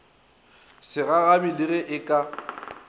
segagabi le ge e ka